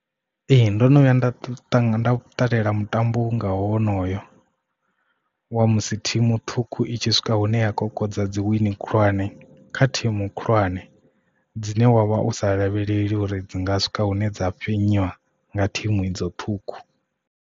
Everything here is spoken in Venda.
Ee ndo no vhuya nda tou ṱalela mutambo nga honoyo wa musi thimu ṱhukhu i tshi swika hune ya kokodza dzi wini khulwane kha thimu khulwane dzine wavha u sa lavheleli uri dzi nga swika hune dza fhenyiwa nga thimu idzo ṱhukhu.